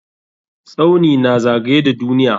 Tsauni na zagaye da duniya.